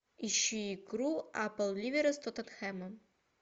ищи игру апл ливера с тоттенхэмом